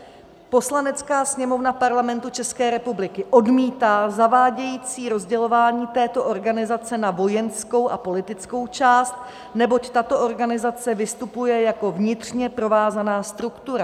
Poslanecká sněmovna Parlamentu České republiky odmítá zavádějící rozdělování této organizace na vojenskou a politickou část, neboť tato organizace vystupuje jako vnitřně provázaná struktura.